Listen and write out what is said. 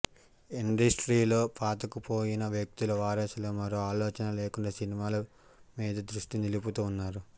ఇండస్ట్రీలో పాతకుపోయిన వ్యక్తుల వారసులు మరో ఆలోచనే లేకుండా సినిమాల మీదే దృష్టి నిలుపుతూ ఉన్నారు